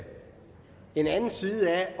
den anden side af